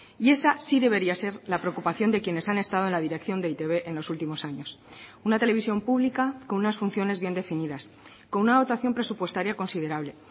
y esa sí debería ser la preocupación de quienes han estado en la dirección de e i te be en los últimos años una televisión pública con unas funciones bien definidas con una dotación presupuestaria considerable